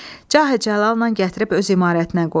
Cahə-cəlalla gətirib öz imarətinə qoydu.